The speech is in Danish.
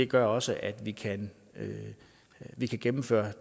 gør også at vi kan vi kan gennemføre